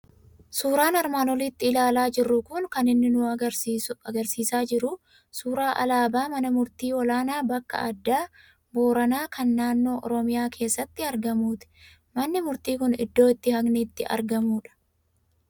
Suuraan armaan olitti ilaalaa jirru kun kan inni nu argisiisaa jiru suuraa alaabaa mana Murtii Olaanaa bakka Addaa Booranaa, kan naannoo Oromiyaa keessatti argamuuti. Manni murtii kun iddoo itti haqni itti argamudha.